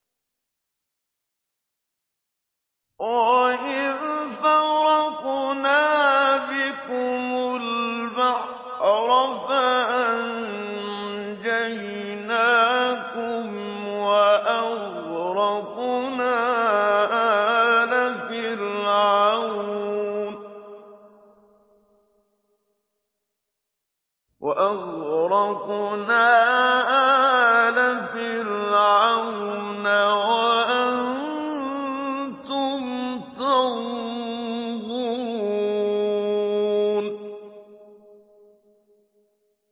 وَإِذْ فَرَقْنَا بِكُمُ الْبَحْرَ فَأَنجَيْنَاكُمْ وَأَغْرَقْنَا آلَ فِرْعَوْنَ وَأَنتُمْ تَنظُرُونَ